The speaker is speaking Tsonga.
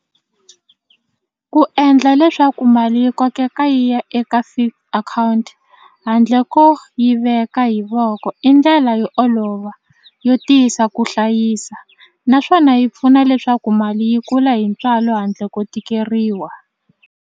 Ku endla leswaku mali yi kokeka yi ya eka fixed akhawunti handle ko yi veka hi voko i ndlela yo olova yo tiyisa ku hlayisa naswona yi pfuna leswaku mali yi kula hi ntswalo handle ko tikeriwa.